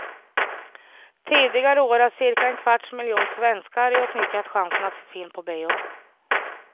Tidigare år har cirka en kvarts miljon svenskar utnyttjat chansen att se film på bio.